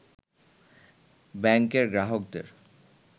ব্যাংকের গ্রাহকদের